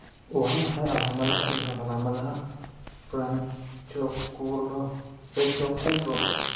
Waa maxay calaamadaha iyo calaamadaha Branchiooculofacial syndrome?